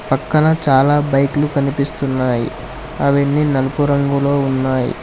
పక్కన చాలా బైకులు కనిపిస్తున్నాయి అవన్నీ నలుపు రంగులో ఉన్నాయి.